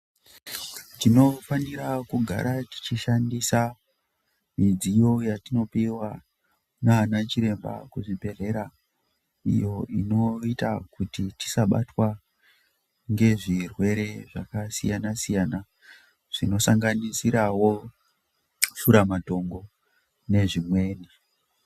Tinofanira kugara tichishandisa midziyo yatinopiwa naana chiremba kuzvibhedhlera iyo inoita kuti tisabatwa ngezvirwere zvakasiyana siyana zvinosanganisirwawo shuramatongo nezvimweni.